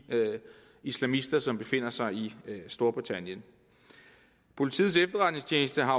islamister som befinder sig i storbritannien politiets efterretningstjeneste har